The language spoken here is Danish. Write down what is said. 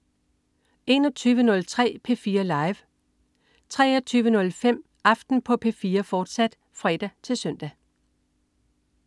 21.03 P4 Live 23.05 Aften på P4, fortsat (fre-søn)